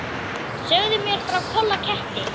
Segðu mér frá Kolla ketti.